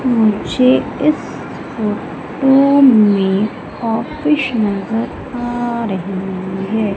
मुझे इस फोटो में ऑफिस नजर आ रही है।